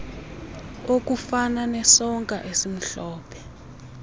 okufana nesonka esimhlophe